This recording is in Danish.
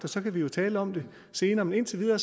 så kan vi jo tale om det senere men indtil videre